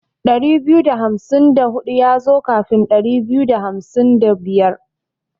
Ɗari biyu da hamsin da hudu yazo kafin Ɗari biyu da hamsin da biyar.